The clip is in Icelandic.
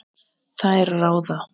Þær ráða.